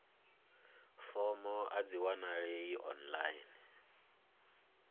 fomo a dzi wanalei online